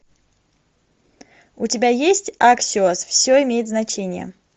у тебя есть аксиос все имеет значение